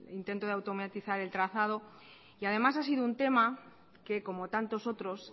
intento de automatizar el trazado y además ha sido un tema que como tantos otros